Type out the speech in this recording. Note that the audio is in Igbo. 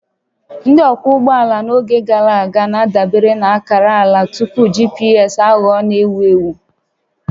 Ndị ọkwọ ụgbọala n'oge gara aga na-adabere na akara ala tupu GPS aghọọ n'ewu ewu